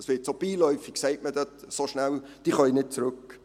Dies wird so beiläufig gesagt: «Die können nicht zurück.